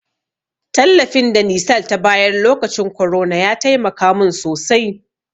Tallafin da nisal ta bayar lokacin korona ya taimaka mun sosai.